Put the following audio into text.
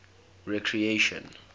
recreation